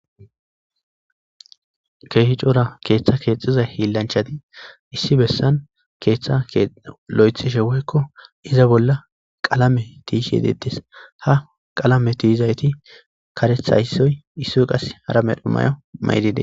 Kehi cora keetha keexiza hilanchati issi bessan keetha loythishe woyko iza bolla qalamen yishe deetes. Ha qalamen tiyizayti karetha issoy, issoy qase hara medho mayo mayidi deetes.